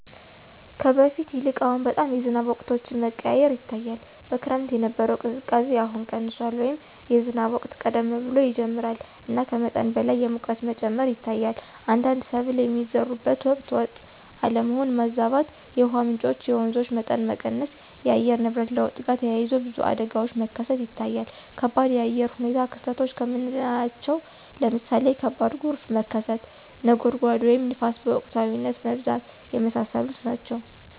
ከበፊቱ ይልቅ አሁን በጣም የዝናብ ወቅቶች መቀያየር ይታያል። በክረምት የነበረው ቅዝቃዜ አሁን ቀንሷል” ወይም “የዝናብ ወቅት ቀደም ብሎ ይጀምራል እና ከመጠን በላይ የሙቀት መጨመር ይታያል። አንዳንድ ሰብል የሚዘሩበት ወቅት ወጥ አለመሆን (ማዛባት)።የውሃ ምንጮች (የወንዞች) መጠን መቀነስ። ከአየር ንብረት ለውጥ ጋር ተያይዞ ብዙ አደጋዎች መከሰት ይታያል ከባድ የአየር ሁኔታ ክስተቶች ከምናለቸው ለምሳሌ ከባድ ጎርፍ መከሰት፣ (ነጎድጓድ) ወይም ንፋስ በወቅታዊነት መብዛት። የመሳሰሉት ናቸው።